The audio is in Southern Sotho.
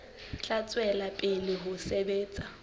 tla tswela pele ho sebetsa